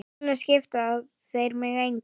Núna skipta þeir mig engu.